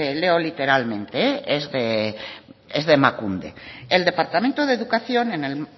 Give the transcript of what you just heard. leo literalmente es de emakunde el departamento de educación en el